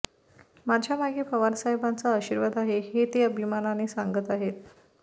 माझ्यामागे पवारसाहेबांचा आशीर्वाद आहे हे ते अभिमानाने सांगत आहेत